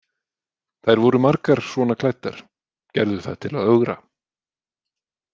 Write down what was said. Þær voru margar svona klæddar, gerðu það til að ögra.